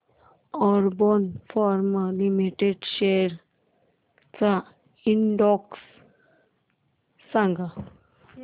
Aurobindo pharma limited shares चा index सांगा